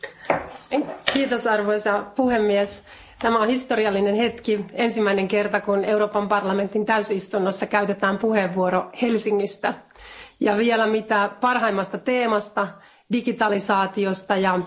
Arvoisa puhemies, tämä on historiallinen hetki, ensimmäinen kerta, kun Euroopan parlamentin täysistunnossa käytetään puheenvuoro Helsingistä ja vielä mitä parhaimmasta teemasta digitalisaatiosta ja tekoälystä.